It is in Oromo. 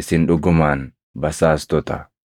isin dhugumaan basaastota!”